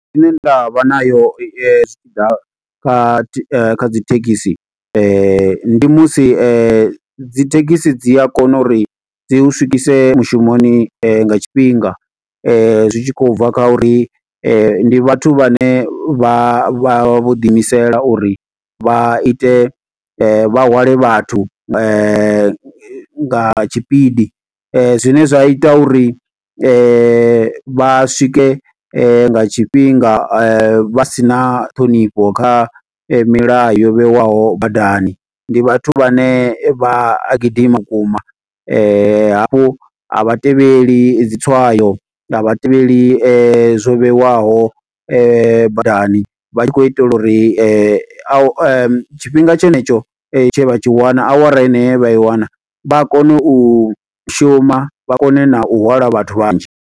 Ine nda vha nayo yo, zwi tshi ḓa kha kha dzi thekhisi. Ndi musi dzi thekhisi dzi a kona uri dzi hu swikise mushumoni nga tshifhinga. Zwi tshi khou bva kha uri ndi vhathu vhane vha vha, vho ḓiimisela uri vha ite, vha hwale vhathu nga tshipidi. Zwine zwa ita uri vha swike nga tshifhinga vha si na ṱhonifho, kha milayo yo vheiwaho badani. Ndi vhathu vhane vha a gidima vhukuma hafhu a vha tevheli dzi tswayo, a vhatevheli zwo vheiwaho badani vha tshi khou itela uri, tshifhinga tshenetsho tshe vha tshi wana, awara eneyo ye vha i wana, vha kone u shuma. Vha kone na u hwala vhathu vhanzhi.